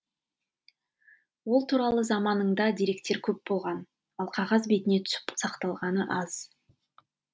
ол туралы заманында деректер көп болған ал қағаз бетіне түсіп сақталғаны аз